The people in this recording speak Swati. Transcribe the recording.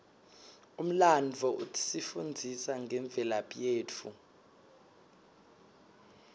umlandvo usifundzisa ngemvelaphi yetfu